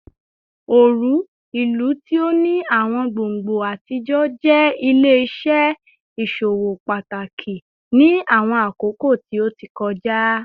Oru, ilu ti o ni awọn gbongbo atijọ, jẹ ile-iṣẹ iṣowo pataki ni awọn akoko ti o ti kọja